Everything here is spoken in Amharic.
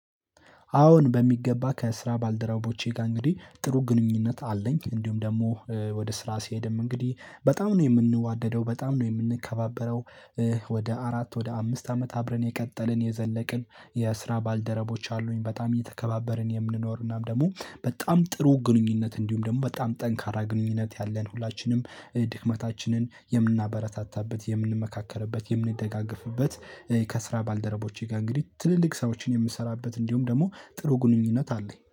አዎን በሚገባ ከስራ ባልደረቦቼ ጋር እንግዲህ ጥሩ ግንኙነት አለኝ እንዲሁም ደግሞ ወደ ስራ ስሄድም እንግዲህ በጣም ነው የምንዋደደው በጣም ነው የምንከባበረው። ወደ አራት ወደ አምስት አመት አብረን የቀጠልን የዘለቅን የስራ ባልደረቦች አሉኝ በጣም እየተከባበርን የምንኖር እናም ደግሞ በጣም ጥሩ ግንኙነት እንዲሁም ደግሞ በጣም ጠንካራ ግንኙነት ያለን ሁላችንም ድክመታችንን የምናበረታታበት የምንመካከርበት የምንደጋገፍበት። ከስራ ባልደረቦቼ ጋር እንግዲህ ትልልቅ ስራዎችን የምሰራበት እንዲሁም ደግሞ ጥሩ ግንኙነት አለኝ